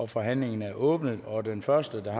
forhandlingen er åbnet og den første der